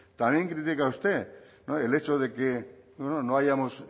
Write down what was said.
también critica usted el hecho de que no hayamos